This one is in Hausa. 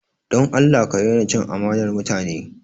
Don Allah ka daina cin amanar mutane!